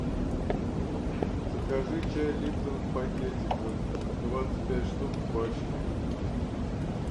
закажи чай липтон в пакетиках двадцать пять штук в пачке